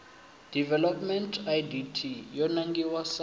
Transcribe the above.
development idt yo nangiwa sa